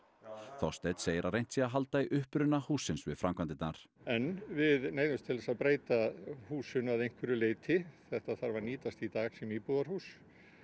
Þorsteinn segir að reynt sé að halda í uppruna hússins við framkvæmdirnar en við neyðumst til þess að breyta húsinu að einhverju leyti þetta þarf að nýtast í dag sem íbúðarhús